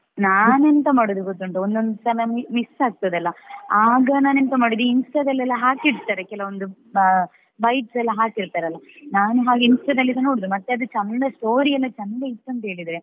ನಾನ್ ಎಂತ ಮಾಡುದು ಗೊತ್ತುಂಟಾ ಒಂದ್ ಒಂದೊಂದು ಸಲ miss ಆಗ್ತದೆ ಅಲ್ಲಾ ಆಗ ನಾನ್ ಎಂತ ಮಾಡುದು ಈ Insta ದಲೆಲ್ಲಾ ಹಾಕಿರ್ತಾರೆ ಕೆಲವೊಂದು bites ಎಲ್ಲ ಹಾಕಿರ್ತಾರೆ ಅಲ್ಲಾ ನಾನು ಹಾಗೆ Insta ದಲ್ಲಿ ಸಾ ನೋಡುದು ಮತ್ತೆ ಅದು ಚೆಂದ ಆದಲ್ಲಿ story ಎಲ್ಲಾ ಚಂದ ಇತ್ತು ಅಂತ ಹೇಳಿದ್ರೆ